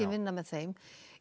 vinna með þeim